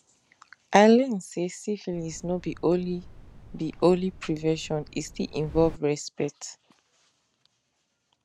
i learn say syphilis no be only be only prevention e still involve respect